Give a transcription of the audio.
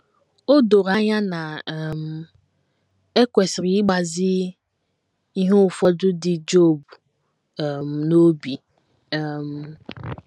O doro anya na um e kwesịrị ịgbazi ihe ụfọdụ dị Job um n’obi um.